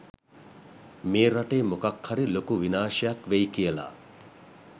මේ රටේ මොකක්හරි ලොකු විනාශයක් වෙයි කියලා.